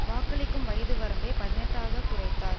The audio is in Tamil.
வாக்களிக்கும் வயது வரம்பை பதினெட்டுஆக குறைத்தார்